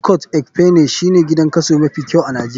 Ikot ekpene shine gidan kaso mafi kyau a nijeria.